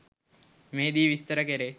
මෙහිදී විස්තර කෙරේ.